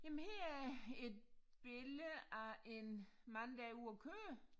Jamen her er et billede af en mand der er ude at køre